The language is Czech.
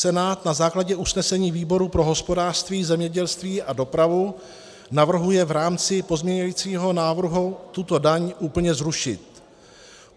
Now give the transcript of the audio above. Senát na základě usnesení výboru pro hospodářství, zemědělství a dopravu navrhuje v rámci pozměňujícího návrhu tuto daň úplně zrušit.